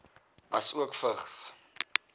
asook vigs